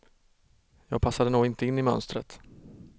Jag passade nog inte in i mönstret.